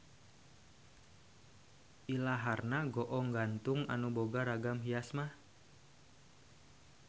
Ilaharna goong gantung anu boga ragam hias mah.